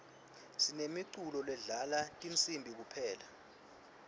sinemiculo ledlala tinsibi kuphela